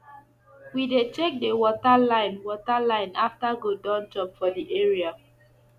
we dey check the water line water line after goat don chop for the area